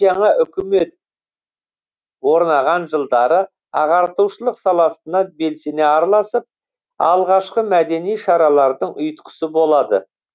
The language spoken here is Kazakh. жаңа өкімет орнаған жылдары ағартушылық саласына белсене араласып алғашқы мәдени шаралардың ұйытқысы болады